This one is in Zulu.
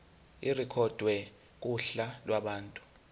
irekhodwe kuhla lwabantu